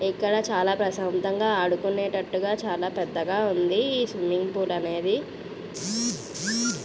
ఇక్కడ చాలా ప్రశాంతంగా ఆడుకునేటట్టుగా చాలా పెద్దగా ఉంది. ఈ సిమ్మింగ్ పూలు అనేది.